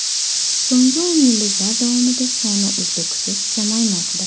So‘nggi o‘n yilliklar davomida soni uzluksiz kamaymoqda.